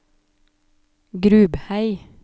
Grubhei